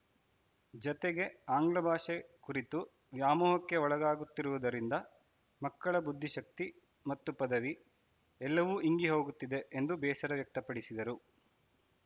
ಜತೆಗೆ ಆಂಗ್ಲ ಭಾಷೆ ಕುರಿತು ವ್ಯಾಮೋಹಕ್ಕೆ ಒಳಗಾಗುತ್ತಿರುವುದರಿಂದ ಮಕ್ಕಳ ಬುದ್ದಿಶಕ್ತಿ ಮತ್ತು ಪದವಿ ಎಲ್ಲವೂ ಇಂಗಿ ಹೋಗುತ್ತಿದೆ ಎಂದು ಬೇಸರ ವ್ಯಕ್ತಪಡಿಸಿದರು